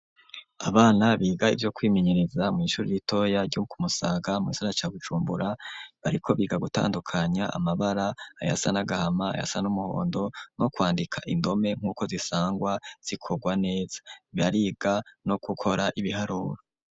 Abana biga ivyo kwimenyereza mw'ishuri ritoya ryo ku musaga mu gisagara ca Bujumbura bariko biga gutandukanya amabara ayasa n'agahama ayasa n'umuhondo no kwandika indome nk'uko zisangwa zikorwa neza bariga no gukora ibiharuro.